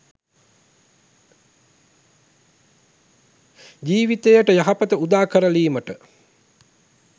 ජීවිතයට යහපත උදාකර ලීමට